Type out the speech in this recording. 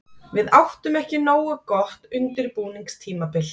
Við áttum ekki nógu gott undirbúningstímabil.